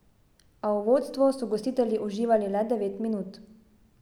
A v vodstvu so gostitelji uživali le devet minut.